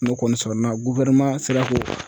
N'o kɔni sɔrɔna sera k'o